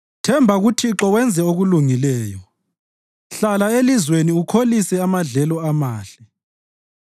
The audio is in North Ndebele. Themba kuThixo wenze okulungileyo; hlala elizweni ukholise amadlelo amahle.